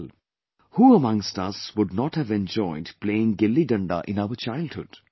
" Who amongst us would not have enjoyed playing GilliDanda in our childhood